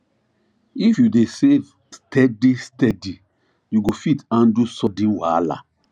if you dey save steady steady you go fit handle sudden wahala